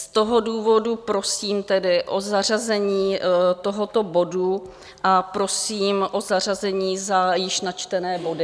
Z toho důvodu prosím tedy o zařazení tohoto bodu a prosím o zařazení za již načtené body.